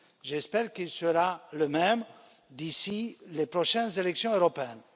J'espère qu'il sera le même d'ici les prochaines élections européennes.